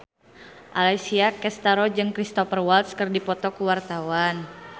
Alessia Cestaro jeung Cristhoper Waltz keur dipoto ku wartawan